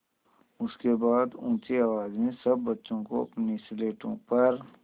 उसके बाद ऊँची आवाज़ में सब बच्चों को अपनी स्लेटों पर